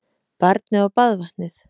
Barnið og baðvatnið